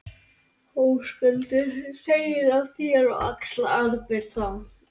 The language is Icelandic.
Höskuldur: Segir af þér og axlar ábyrgð þá?